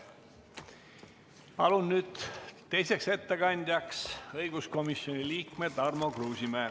Palun nüüd teiseks ettekandjaks õiguskomisjoni liikme Tarmo Kruusimäe.